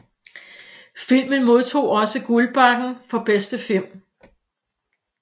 Filmen modtog også Guldbaggen for bedste film